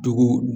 Dugu